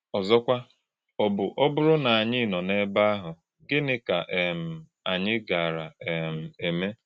Ọ̀zọ́kwà̄, ọ̀ bụ̄ ọ́bụ̀rụ̀ na ànyị̄ nọ̄ n’ebe àhụ̄, gị̣nị̀ kà um ànyị̄ gàárà̄ um èmé̄?